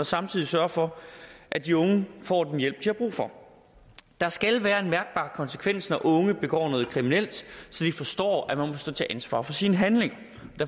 samtidig sørger for at de unge får den hjælp de har brug for der skal være en mærkbar konsekvens når unge begår noget kriminelt så de forstår at man må stå til ansvar for sine handlinger